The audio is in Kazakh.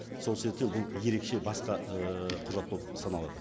сол себептен бұл ерекше басқа ыыы құжат болып саналады